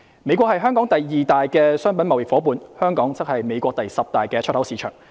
美國是香港第二大的商品貿易夥伴，香港則是美國第十大的出口市場。